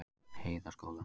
Heiðaskóla